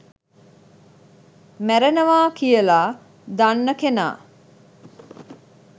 මැරෙනවා කියලා දන්න කෙනා